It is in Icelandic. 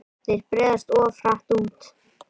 Þeir breiðast oft hratt út.